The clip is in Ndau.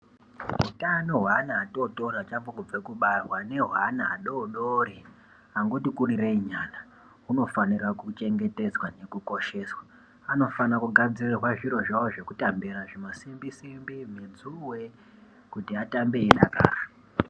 Utano hweana atotori achangobve kubarwa nehweana adodori angoti kurireyi nyana hunofanira kuchengetedzwa nekukosheswa anofana kugadzirirwa zviro zvavo zvekutambisa zvimasimbi simbi, mudzuure kuti attambe eidakara.